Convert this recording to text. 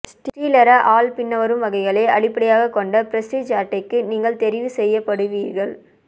ஸ்ரீலரெ ஆல் பின்வரும் வகைகளை அடிப்படையாகக்கொண்ட பிறிஸ்டீஜ் அட்டைக்கு நீங்கள் தெரிவுசெய்யப்படுவீர்கள்